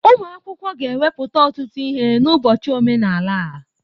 Ụmụ akwụkwọ ga-ewepụta ọtụtụ ihe n'ụbọchị omenala a.